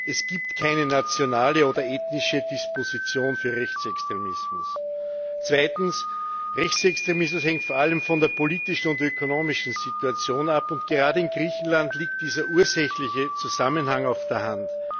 Es gibt keine nationale oder ethnische Disposition für Rechtsextremismus. Zweitens Rechtsextremismus hängt vor allem von der politischen und ökonomischen Situation ab. Gerade in Griechenland liegt dieser ursächliche Zusammenhang auf der Hand.